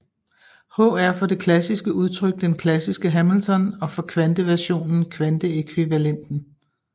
H er for det klassiske udtryk den klassiske Hamilton og for kvanteversionen kvanteækvivalenten